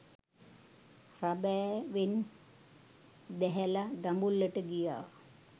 රඹෑවෙන් බැහැලා දඹුල්ලට ගියා